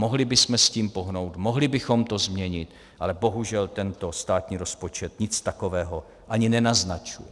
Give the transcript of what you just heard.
Mohli bychom s tím pohnout, mohli bychom to změnit, ale bohužel tento státní rozpočet nic takového ani nenaznačuje.